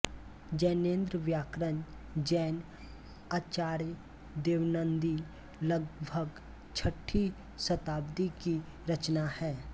जैनेन्द्र व्याकरण जैन आचार्य देवनन्दी लगभग छठी शताब्दी की रचना है